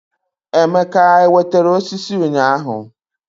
Emeke ewetere osisi ụnyaahụ?